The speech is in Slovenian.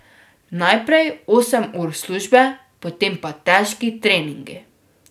Najprej osem ur službe, potem pa težki treningi.